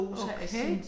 Okay